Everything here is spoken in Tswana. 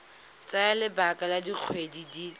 tsaya lebaka la dikgwedi di